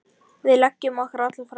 Við leggjum okkur alla fram.